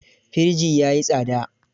Firji ya yi tsada.